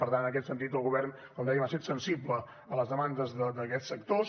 per tant en aquest sentit el govern com dèiem ha set sensible a les demandes d’aquests sectors